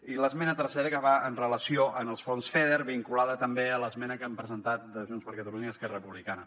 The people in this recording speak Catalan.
i l’esmena tercera que va amb relació als fons feder vinculada també a l’esmena que han presentat junts per catalunya i esquerra republicana